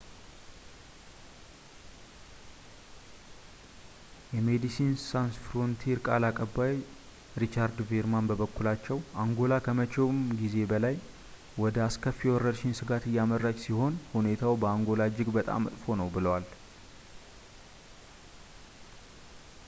የሜዲሲንስ ሳንስ ፍሮንቲር ቃል አቀባይ ሪቻርድ ቬርማን በበኩላቸው አንጎላ ከመቼውም ጊዜ በላይ ወደ አስከፊ የወረርሽኝ ስጋት እያመራች ሲሆን ሁኔታው በአንጎላ እጅግ በጣም መጥፎ ነው ብለዋል